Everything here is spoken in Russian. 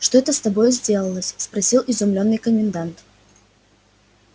что это с тобою сделалось спросил изумлённый комендант